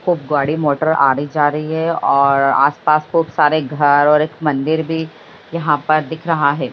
खूब गाड़ी मोटर आरे जा रही है और आस-पास खूब सारे घर और एक मंदिर भी यहाँ पर दिख रहा है।